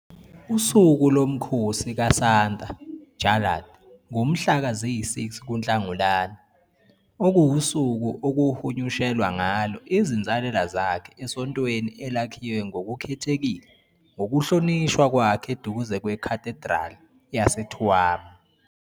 Usuku lomkhosi kaSanta Jarlath ngumhla ziyi-6 kuNhlangulana, okuwusuku okuhunyushelwa ngalo izinsalela zakhe esontweni elakhiwe ngokukhethekile ngokuhlonishwa kwakhe eduze kweCathedral yaseTuam.